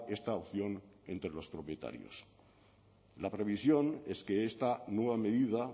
esta opción entre los propietarios la previsión es que esta nueva medida